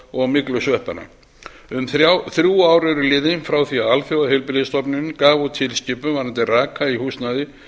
og myglusveppanna um þrjú ár eru nú liðin frá því alþjóðaheilbrigðisstofnunin gaf út tilskipun varðandi raka í húsnæði